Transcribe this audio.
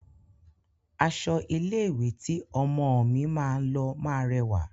Aṣọ ilé-ìwé tí ọmọọ̀ mi máa lọ máa rẹwà.